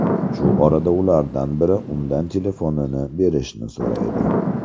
Shu orada ulardan biri undan telefonini berishni so‘raydi.